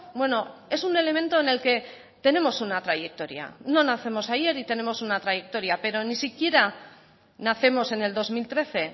bueno es un elemento en el que tenemos una trayectoria no nacemos ayer y tenemos una trayectoria pero ni siquiera nacemos en el dos mil trece